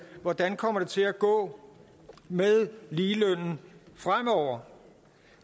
hvordan det kommer til at gå med ligelønnen fremover